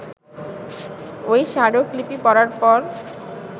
ওই স্মারকলিপি পড়ার পর